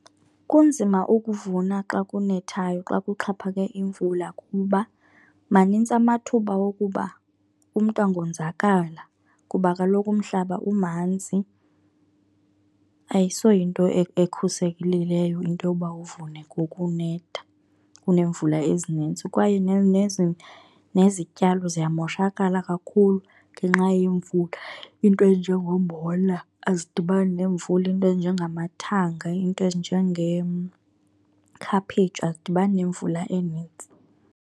Kunzima ukuvuna xa kunethayo, xa kuxhaphake imvul,a kuba manintsi amathuba wokuba umntu angonzakala kuba kaloku umhlaba umanzi. Ayisoyinto ekhuselekileyo into yoba uvune ngoku kunetha, kuneemvula ezinintsi. Kwaye nezityalo ziyamoshakala kakhulu ngenxa yemvula. Into ezinjengombona azidibani nemvula, into ezinjengamathanga, into ezinjengekhaphetshu azidibani nemvula eninzi.